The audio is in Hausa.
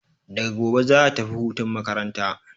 Daga gobe za'a tafi hutun makaranta.